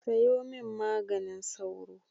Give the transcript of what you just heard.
Sayo min maganin sauro.